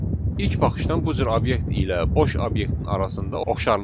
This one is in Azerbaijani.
İlk baxışdan bu cür obyekt ilə boş obyektin arasında oxşarlıq var.